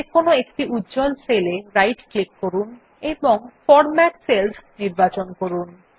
যেকোনো একটি উজ্জ্বল সেল এ রাইট ক্লিক করুন এবং ফরম্যাট সেলস নির্বাচন করুন